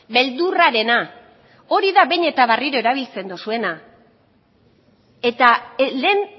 beldurrarena hori da behin eta berriro erabiltzen dozuena eta lehen